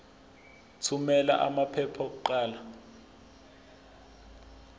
thumela amaphepha okuqala